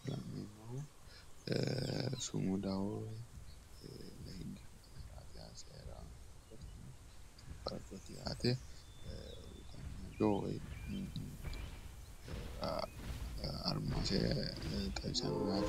Sumudaho....armasi xawissanno yaate.